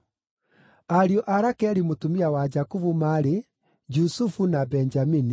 Ariũ a Rakeli mũtumia wa Jakubu maarĩ: Jusufu na Benjamini.